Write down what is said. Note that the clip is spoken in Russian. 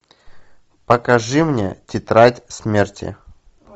покажи мне тетрадь смерти